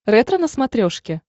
ретро на смотрешке